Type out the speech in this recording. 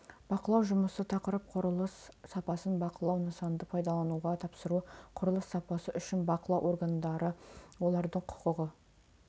бақылау жұмысы тақырып құрылыс сапасын бақылау нысанды пайдалануға тапсыру құрылыс сапасы үшін бақылау органдары олардың құқығы